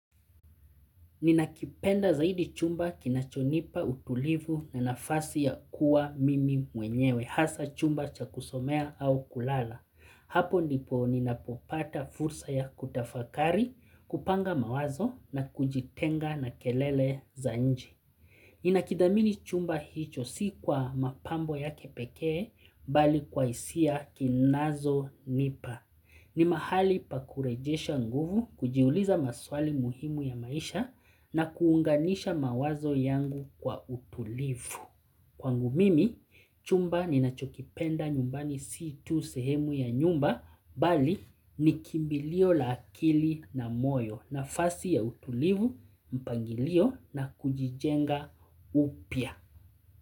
Ninakipenda zaidi chumba kinachonipa utulivu na nafasi ya kuwa mimi mwenyewe, hasa chumba cha kusomea au kulala. Hapo ndipo ninapopata fursa ya kutafakari, kupanga mawazo na kujitenga na kelele za nje. Ninakidhamini chumba hicho si kwa mapambo yake pekee, bali kwa hisia kinazo nipa. Ni mahali pa kurejesha nguvu, kujiuliza maswali muhimu ya maisha na kuunganisha mawazo yangu kwa utulivu. Kwangu mimi, chumba ni nachokipenda nyumbani si tu sehemu ya nyumba, bali ni kimbilio la akili na moyo nafasi ya utulivu mpangilio na kujijenga upya.